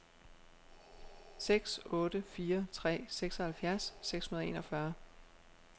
seks otte fire tre seksoghalvfjerds seks hundrede og enogfyrre